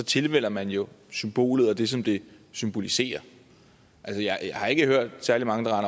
tilvælger man jo symbolet og det som det symboliserer jeg har ikke hørt særlig mange